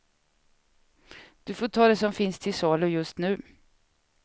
Du får ta det som finns till salu just nu.